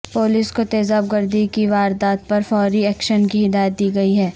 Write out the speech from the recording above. police کو تیزاب گردی کی واردات پر فوری ایکشن کی ہدایات دی گئی ہیں